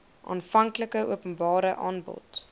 aanvanklike openbare aanbod